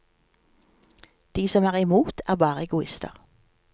De som er i mot, er bare egoister.